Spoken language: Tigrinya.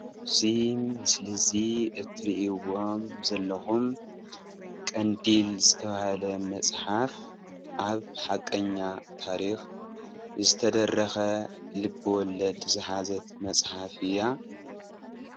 እዚ ምስሊ እዙይ አትሪእዎም ዘለኹም ቀንዴል ዝተባሃለ መፅሓፍ ኣብ ሓቀኛ ታሪክ ዝተደረኸ ልበ ወለድ ዝሓዘት መፅሓፍ እያ።